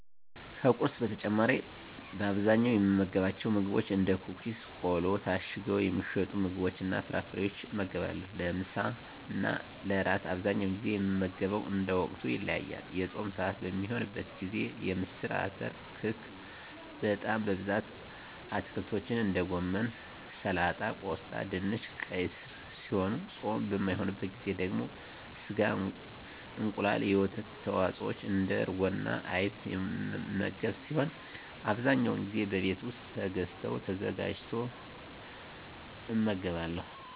ከቁርስ በተጨማሪ በአብዛኛው የምመገባቸው ምግቦች እንደ ኩኪስ ቆሎ ታሽገው የሚሸጡ ምግቦችንና ፍራፍሬወችን እመገባለሁ። ለምሳና ለእራት በአብዛኛው ጊዜ የምመገበው እንደ ወቅቱ ይለያያል። የፆም ስዓት በሚሆንበት ጊዜ ምስር አተር ክክ በጣም በብዛት አትክልቶችን እንደ ጎመን ሰላጣ ቆስጣ ድንች ቀይ ስር ሲሆኑ ፆም በማይሆንበት ጊዜ ደግሞ ስጋ እንቁላል የወተት ተዋፅወች እንደ እርጎና አይብ የምመገብ ሲሆን አብዛኛውን ጊዜ በቤት ውስጥ ተገዝተው ተዘጋጅቶ እመገባለሁ።